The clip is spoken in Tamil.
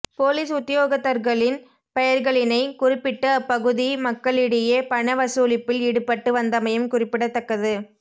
பொலிஸ் உத்தியோகத்தர்களின் பெயர்களினை குறிப்பிட்டு அப்பகுதி மக்களிடையே பணவசூலிப்பில் ஈடுபட்டு வந்தமையும் குறிப்பிடத்தக்கது